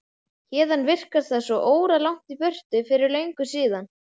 Héðan virkar það svo óralangt í burtu, fyrir löngu síðan.